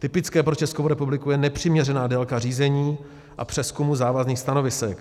Typická pro Českou republiku je nepřiměřená délka řízení a přezkumu závazných stanovisek.